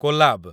Collab